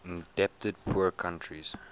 indebted poor countries